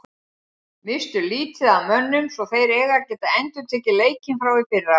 Misstu lítið af mönnum svo þeir eiga að geta endurtekið leikinn frá í fyrra.